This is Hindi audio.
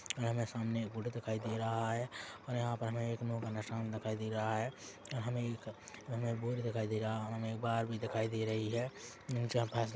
हमे सामने एक फोटो दिखाई दे रहा है और यहाँ पे हमें एक नो का निशान दिखाई दे रहा है हमे एक हमें एक बोर्ड दिखाई दे रहा है हमे एक बार भी दिखाई दे रही है जा पास--